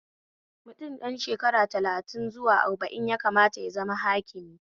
Mutum ɗan shekara talatin zuwa arba'in ya kamata ya zama hakimi